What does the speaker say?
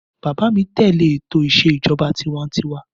Bàbá mí tẹ̀lé ètò ìsè ìjọba tiwańtiwa.